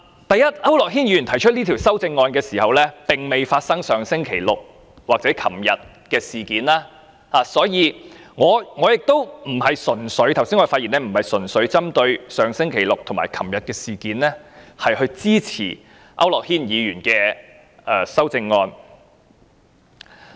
第一，區諾軒議員提出這項修正案時，並未發生上星期六或昨天的事件，所以我剛才的發言並不是純粹針對上星期六或昨天發生的事，從而支持區諾軒議員的修正案。